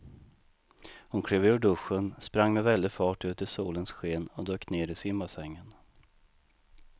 Hon klev ur duschen, sprang med väldig fart ut i solens sken och dök ner i simbassängen.